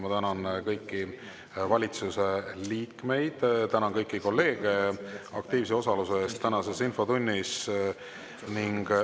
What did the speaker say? Ma tänan kõiki valitsuse liikmeid, tänan kõiki kolleege aktiivse osaluse eest tänases infotunnis!